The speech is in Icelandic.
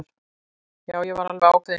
Já, ég var alveg ákveðin í því.